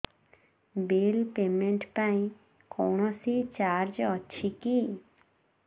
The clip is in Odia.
ବିଲ୍ ପେମେଣ୍ଟ ପାଇଁ କୌଣସି ଚାର୍ଜ ଅଛି କି